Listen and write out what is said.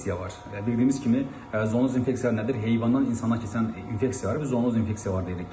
Bildiyimiz kimi zonoz infeksiya nədir? Heyvandan insana keçən infeksiyalara biz zonoz infeksiyalar deyirik ki,